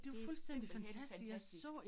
Det simpelthen fantastisk